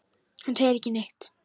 Hann segir ekki neitt.